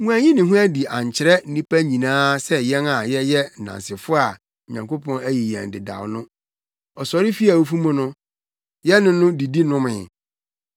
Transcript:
Wanyi ne ho adi ankyerɛ nnipa nyinaa sɛ yɛn a yɛyɛ nnansefo a Onyankopɔn ayi yɛn dedaw no. Ɔsɔre fii awufo mu no, yɛne no didi nomee.